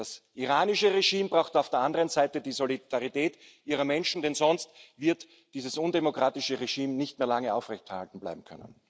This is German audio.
Das iranische Regime braucht auf der anderen Seite die Solidarität seiner Menschen, denn sonst wird dieses undemokratische Regime nicht mehr lange aufrechterhalten bleiben können.